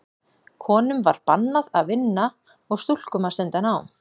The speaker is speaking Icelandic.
Konum var bannað að vinna og stúlkum að stunda nám.